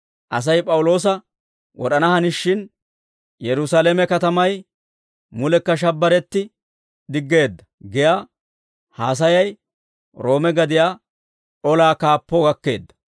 Asay P'awuloosa wod'ana hanishin, «Yerusaalame katamay mulekka shabbiretti diggeedda» giyaa haasayay Roome gadiyaa olaa kaappoo gakkeedda.